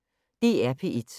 DR P1